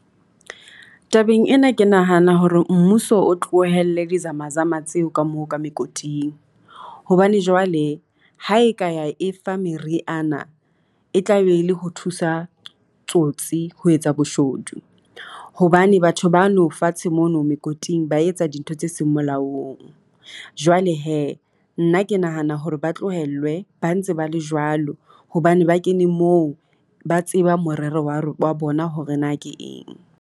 Tabeng ena ke nahana hore mmuso o tlohelle di-ZamaZama tseo ka moo ka mekoting, hobane jwale ha e ka ya e fa meriana e tla be le ho thusa tsotsi ho etsa boshodu. Hobane batho bano fatshe mono mekoting ba etsa dintho tse seng molaong. Jwale hee nna ke nahana hore ba tlohellwe ba ntse ba le jwalo hobane ba kene moo, ba tseba morero wa ro wa bona hore na ke eng.